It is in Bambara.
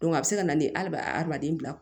a bɛ se ka na ni ali adamaden bila